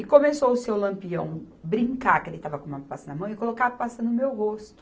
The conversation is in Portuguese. E começou o Seu Lampião brincar que ele estava com uma pasta na mão e colocar a pasta no meu rosto.